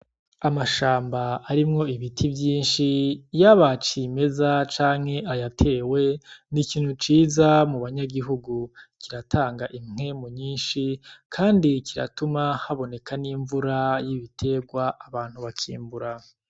Amashamba arimwo ibiti vyinshi yaba cimeza canke ayatewe n' ikintu ciza mubanyagihugu kiratanga impwemu nyinshi kandi kiratuma haboneka n' imvura y' ibitegwa abantu bakimbura.